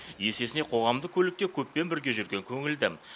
есесіне қоғамдық көлікте көппен бірге жүрген көңілді